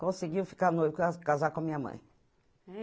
Conseguiu ficar noiva, ca casar com a minha mãe.